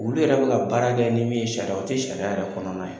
Olu yɛrɛ bi ka baara kɛ ni min ye sariya o tɛ sariya yɛrɛ kɔnɔna ye.